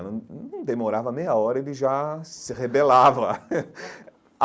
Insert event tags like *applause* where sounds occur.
Não num demorava meia hora e ele já se rebelava. *laughs*